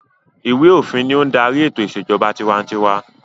Ìwé-òfin ni ó ń darí ètò ìṣèjọba tiwantiwa.